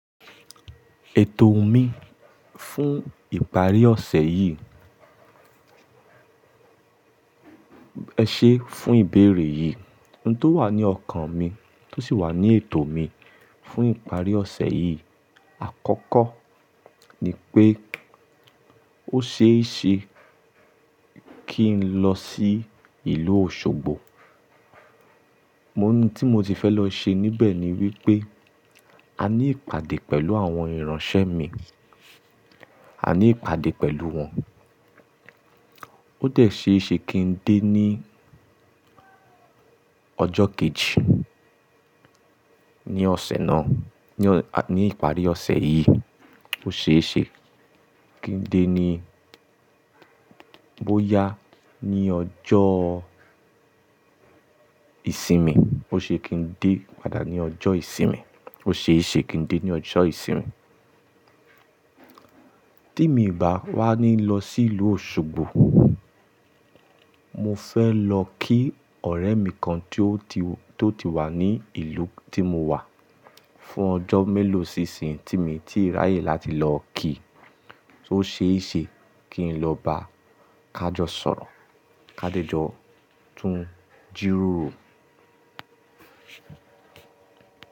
Ètò mi fún ìparí ọ̀sẹ̀ yìí. Ẹ ṣe fún ìbéèrè yìí. Ohun tó wà ní ọkàn mi tó sì wà ní ètò mi fún ìparí ọ̀sẹ̀ yìí àkọ́kọ́ ni pé ó ṣe é ṣe kí n lọ sí ìlú Òṣogbo. Ohun tí mo ti fẹ́ lọ ṣe níbẹ̀ ni wípé a ní ìpàdé pẹ̀lú àwọn ìránṣẹ́ mi. A ní ìpàdé pẹ̀lú wọn. Ó dẹ̀ ṣe é ṣe kí n dé ní ọjọ́ kejì ní ọ̀sẹ̀ náà, ní ìparí ọ̀sẹ̀ yìí. Ó ṣe é ṣe kí n dé ní, bóyá ní ọjọ́ ìsinmi. Ó ṣe kí n dé padà ní ọjọ́ ìsinmi. Ó ṣe é ṣe kí n dé ní ọjọ́ ìsinmi. Tí mi ò bá wá ní lọ sí ìlú Òṣogbo, mo fẹ́ lọ kí ọ̀rẹ́ mi kan tó ti wà ní ìlú tí mo wà fún ọjọ́ mélòó sísìn tí mí tíì ráyè láti lọ ki. Ó ṣe é ṣe kí n lọ bá Kajọ́ sọ̀rọ̀. Kádejọ́ tún jíròrò.